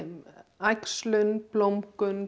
æxlun blómgun